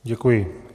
Děkuji.